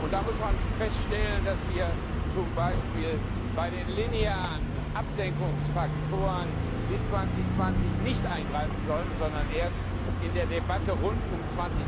Da muss man feststellen, dass wir zum Beispiel bei den linearen Absenkungsfaktoren bis 2020 nicht eingreifen sollten, sondern erst in der Debatte rund um